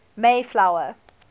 mayflower